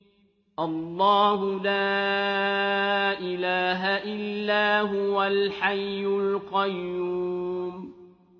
اللَّهُ لَا إِلَٰهَ إِلَّا هُوَ الْحَيُّ الْقَيُّومُ